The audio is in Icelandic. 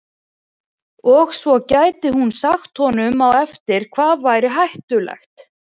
Og svo gæti hún sagt honum á eftir hvað væri hættulegt.